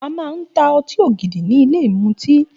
A màa ń tà ọtí ògidì ni ìlé ìmútì.